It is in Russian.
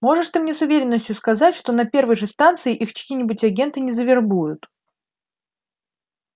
можешь ты мне с уверенностью сказать что на первой же станции их чьи-нибудь агенты не завербуют